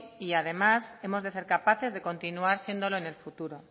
y además hemos de ser capaces de continuar siéndolo en el futuro